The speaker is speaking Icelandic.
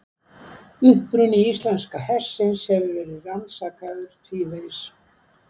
Uppruni íslenska hestsins hefur verið rannsakaður tvívegis.